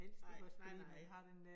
Nej, nej nej